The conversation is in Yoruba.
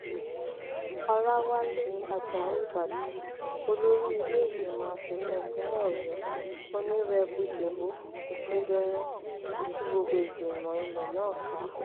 ọlàwálẹ ajáò ìbàdàn olórí ìlèégbìmọ asòfin ìpínlẹ ọyọ onírèbù dẹbó ọgùndọyìn ọgùndọyìn ti tú gbogbo ìgbìmọ ilẹ náà ká